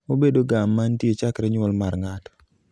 obedo ga mantie chakre nyuol mar ng'ato